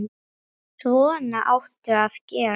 Svona áttu að gera.